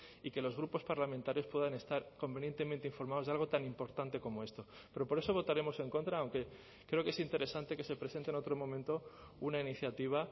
y que los grupos parlamentarios puedan estar convenientemente informados de algo tan importante como esto pero por eso votaremos en contra aunque creo que es interesante que se presente en otro momento una iniciativa